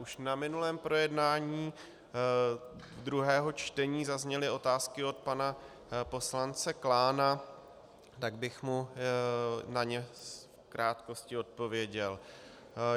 Už na minulém projednání druhého čtení zazněly otázky od pana poslance Klána, tak bych mu na ně v krátkosti odpověděl.